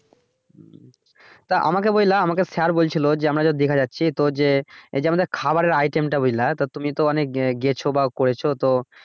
তা আমাকে বললা আমাকে স্যার বলছিলো যে আমরা দিঘা যাচ্ছি তো যে এই যে আমাদের খাবারের item টা বুঝলা তা তুমি তো অনেক গিয়ছো বা করেছো তো